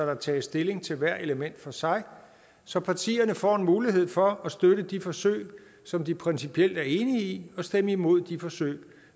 der tages stilling til hvert element for sig så partierne får en mulighed for at støtte de forsøg som de principielt er enige i og stemme imod de forsøg